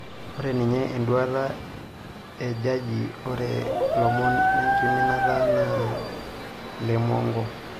Oree ninye eduata ejaji, ore lomon lenkiminata naa lemonko.